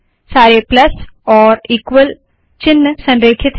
सारे प्लस और ईक्वल चिन्ह संरेखित है